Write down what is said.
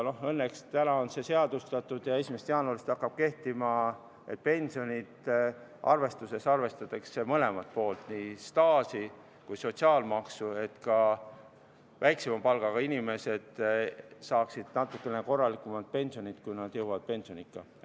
Õnneks nüüd on see seadustatud ja 1. jaanuarist hakkab kehtima, et pensionide arvestuses arvestatakse mõlemat poolt – nii staaži kui ka sotsiaalmaksu –, et ka väiksema palgaga inimesed saaksid natuke korralikumat pensioni, kui nad jõuavad pensioniikka.